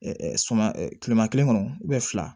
suma kileman kelen kɔnɔ fila